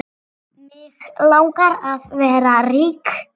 Mig langar að vera rík.